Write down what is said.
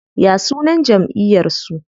Ya sunan jamʼiyar su?